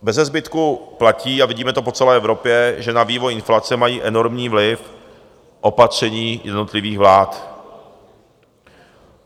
Beze zbytku platí - a vidíme to po celé Evropě - že na vývoj inflace mají enormní vliv opatření jednotlivých vlád.